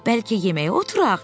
Bəlkə yeməyə oturaq?